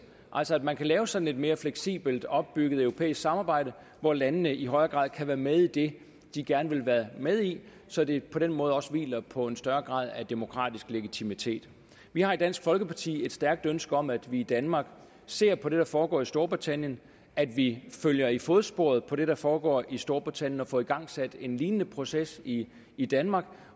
altså at man kan lave sådan et mere fleksibelt opbygget europæisk samarbejde hvor landene i højere grad kan være med i det de gerne vil være med i så det på den måde også hviler på en større grad af demokratisk legitimitet vi har i dansk folkeparti et stærkt ønske om at vi i danmark ser på det der foregår i storbritannien at vi følger i fodsporet på det der foregår i storbritannien og får igangsat en lignende proces i i danmark